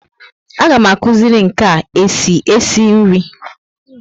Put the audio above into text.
A ga m akuziri nka e si esi nri